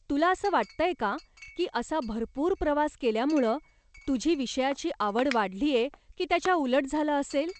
तुला असं वाटतंय का की असा भरपूर प्रवास केल्यामुळं तुझी विषयाची आवड वाढलीय की त्याच्या उलट झालं असेल?